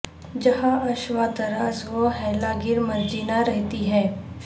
جہاں عشوہ طراز و حیلہ گر مرجینا رہتی ہے